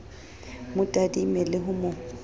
mo tadime le ho mo